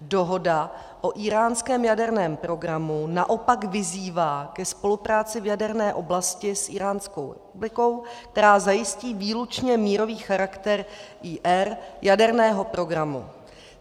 Dohoda o íránském jaderném programu naopak vyzývá ke spolupráci v jaderné oblasti s Íránskou republikou, která zajistí výlučně mírový charakter Ír. jaderného programu.